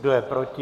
Kdo je proti?